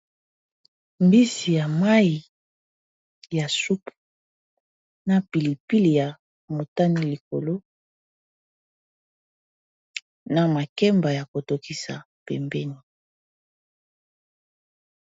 Mbisi ya mayi ya supe na pilipili ya motani likolo na makemba ya kotokisa pembeni.